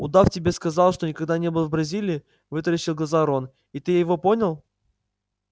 удав тебе сказал что никогда не был в бразилии вытаращил глаза рон и ты его понял